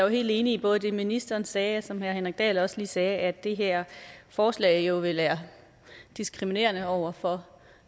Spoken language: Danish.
helt enig i både det ministeren sagde og det som herre henrik dahl også lige sagde at det her forslag jo vil være diskriminerende over for